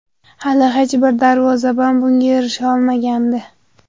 Hali hech bir darvozabon bunga erisha olmagandi.